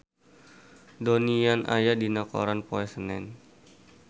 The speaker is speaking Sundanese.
Donnie Yan aya dina koran poe Senen